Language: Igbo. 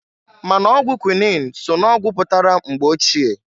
Ma n'ọgwụ kwuinin so n'ọgwụ pụtara mgbe ochie.